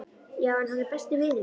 Já, hann er einn besti vinur minn.